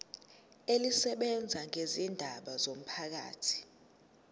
elisebenza ngezindaba zomphakathi